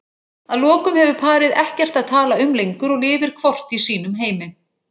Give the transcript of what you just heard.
Að lokum hefur parið ekkert að tala um lengur og lifir hvort í sínum heimi.